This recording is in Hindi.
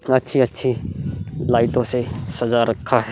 अच्छी-अच्छी लाइटों से सजा रखा है।